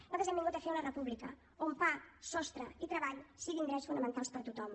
nosaltres hem vingut a fer una república on pa sostre i treball siguin drets fonamentals per a tothom